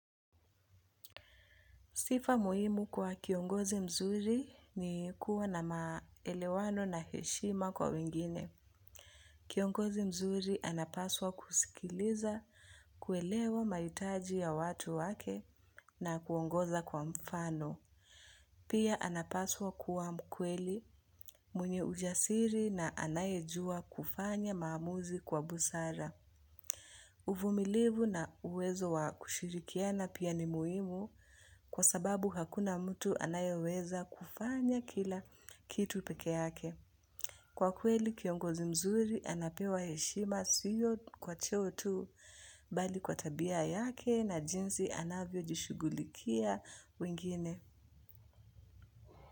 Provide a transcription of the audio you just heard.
Sifa muhimu kwa kiongozi mzuri ni kuwa na maelewano na heshima kwa wengine. Kiongozi mzuri anapaswa kusikiliza, kuelewa mahitaji ya watu wake na kuongoza kwa mfano. Pia anapaswa kuwa mkweli mwenye ujasiri na anayejua kufanya maamuzi kwa busara. Uvumilivu na uwezo wa kushirikiana pia ni muimu kwa sababu hakuna mtu anayeweza kufanya kila kitu peke yake. Kwa kweli kiongozi mzuri anapewa heshima sio kwa cheo tu bali kwa tabia yake na jinsi anavyo jishughulikia wengine.